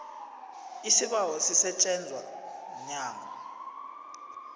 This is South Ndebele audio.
isibawo sisetjenzwa mnyango